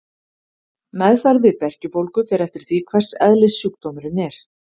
Meðferð við berkjubólgu fer eftir því hvers eðlis sjúkdómurinn er.